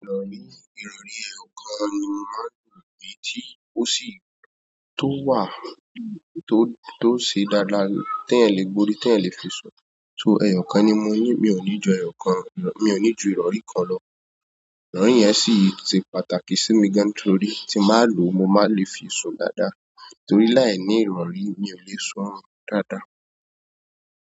Rọ̀rì, ìrọ̀rí, ẹ̀yọ̀kan ni máà ń lò bí tí ó sì tó wà tó, tó ṣe dáadáa tí èyí le gbórí, tí èyí le fi sún, so ẹ̀yọ̀kan ni mò ń ní, mi ò ní ju ẹ̀yọ̀kan, mi ò ní ju ìrọ̀rí kan lọ. Ìrọ̀rí yẹn sì se pàtàkì sí mi gan nítorí tí mbà á lò, mo máa nle fi sún dáadáa torí láìní ìrọ̀rí mi ò le sún dáadáa.